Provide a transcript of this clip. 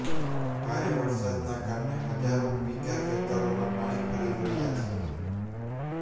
ભારે વરસાદના કારણે હજારો વીધા ખેતરોમાં પાણી ફરી વળ્યા છે